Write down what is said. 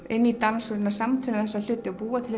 inn í dans og samtvinna þessa hluti búa til